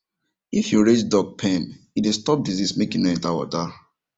if you raised duck pen e dey stop disease make e nor enter water